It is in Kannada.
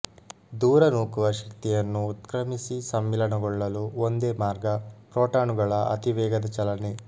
ದೂರ ನೂಕುವ ಶಕ್ತಿಯನ್ನು ಉತ್ಕ್ರಮಿಸಿ ಸಮ್ಮಿಲನಗೊಳ್ಳಲು ಒಂದೇ ಮಾರ್ಗಪ್ರೋಟಾನುಗಳ ಅತಿ ವೇಗದ ಚಲನೆ